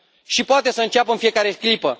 Și poate să înceapă în fiecare clipă.